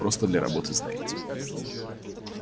просто для работы знаете